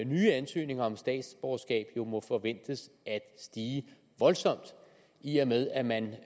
nye ansøgninger om statsborgerskab nu må forventes at stige voldsomt i og med at man